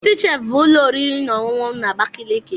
Citi chef bụ ụlọ oriri na ọṅụṅụ na Abakaliki.